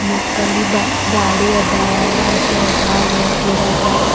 ಮತ್ತಲ್ಲಿ ಬಾ ಗಾಡಿ ಅದ ಅಲ್ ಆಟೋ ಅದ ಅಲ್ ಒಂದ್ ಗಿಡ ಅದ.